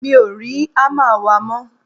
mi ò rí hámà wa mọ́